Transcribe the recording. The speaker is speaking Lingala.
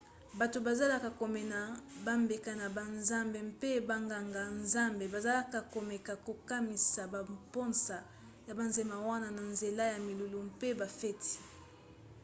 bato bazalaki komema bambeka na banzambe mpe banganga-nzambe bazalaka komeka kokomisa bamposa ya banzema wana na nzela ya milulu mpe bafeti